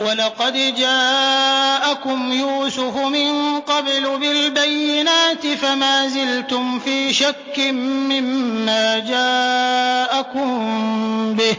وَلَقَدْ جَاءَكُمْ يُوسُفُ مِن قَبْلُ بِالْبَيِّنَاتِ فَمَا زِلْتُمْ فِي شَكٍّ مِّمَّا جَاءَكُم بِهِ ۖ